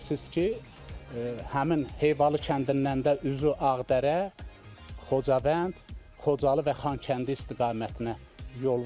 Bilirsiniz ki, həmin Heyvalı kəndindən də üzü Ağdərə, Xocavənd, Xocalı və Xankəndi istiqamətinə yol var.